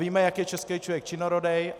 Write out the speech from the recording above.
Víme, jak je český člověk činorodý.